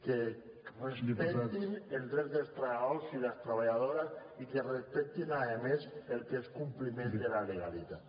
que respectin els drets dels treballadors i les treballadores i que respectin a més el que és el compliment de la legalitat